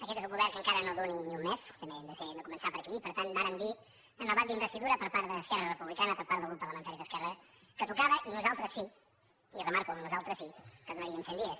aquest és un govern que encara no duu ni un mes també hem de començar per aquí i per tant vàrem dir al debat d’investidura per part d’esquerra republicana per part del grup parlamentari d’esquerra que tocava i nosaltres sí i remarco el nosaltres sí que donaríem cent dies